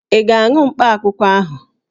Ị ga-aṅụ mkpakwụkwọ ahụ?